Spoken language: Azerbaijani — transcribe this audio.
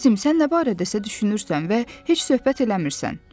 Əzizim, sən nə barədəsə düşünürsən və heç söhbət eləmirsən.